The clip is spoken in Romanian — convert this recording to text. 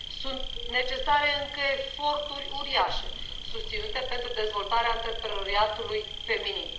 Sunt necesare încă eforturi uriașe susținute pentru dezvoltarea antreprenoriatului feminin.